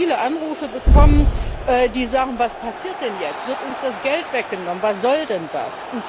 Ich habe viele Anrufe bekommen, in denen gefragt wurde Was passiert denn jetzt? Wird uns das Geld weggenommen? Was soll denn das?